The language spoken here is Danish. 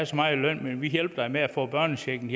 så meget i løn men vi hjælper dig med at få børnechecken